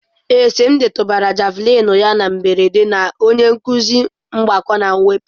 Ee, Simdi tụbara Javulinị ya na mberede na onye nkuzi mgbakọ na mwepụ.